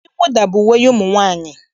Uwe mwụda bụ uwe ụmụ nwaanyị.